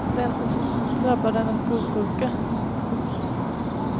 Det enda som drabbar dem är skolsjuka. punkt